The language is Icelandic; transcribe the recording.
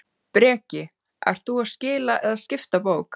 Breki: Ert þú að skila eða skipta bók?